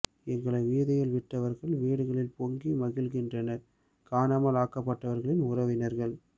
எங்களை வீதியில் விட்டவர்கள் வீடுகளில் பொங்கி மகிழ்கின்றனர் காணாமல் ஆக்கப்பட்டவர்களின் உறவினர்கள்